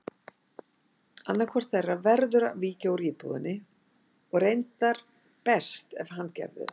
Annaðhvort þeirra verður að víkja úr íbúðinni og reyndar best ef hann gerði það.